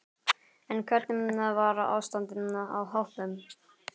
En hvernig var ástandið á hópnum?